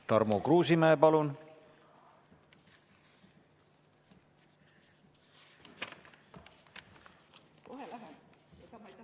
Tarmo Kruusimäe, palun!